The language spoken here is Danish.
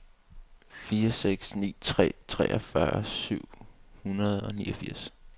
fire seks ni tre treogfyrre syv hundrede og niogfirs